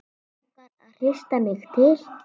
Langar að hrista mig til.